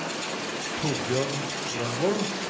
Torbjørn Grønvold